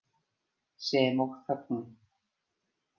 Sem og þögnin.